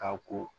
Ka ko